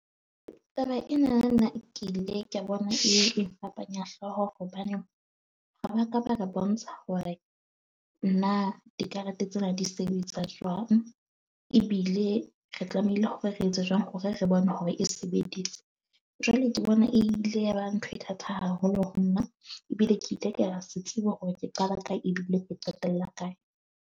Taba ena, nna ke ile ka bona e fapanya hlooho, hobaneng ha ba ka ba re bontsha hore na dikarete tsena di sebetsa jwang. Ebile re tlamehile hore re etse jwang hore re bone hore e sebeditse. Jwale ke bona e ile ya ba ntho e thata haholo ho nna ebile ke hore ke qala ka eng ebile ke qetella kae.